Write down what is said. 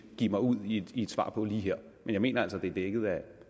give mig ud i et svar på her men jeg mener altså at det er dækket af